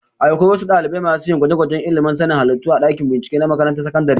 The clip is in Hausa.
Akwai wasu ɗalibai masu yin gwajegwajen ilimin sanin halittu a dakin bincike na makarantar sakandare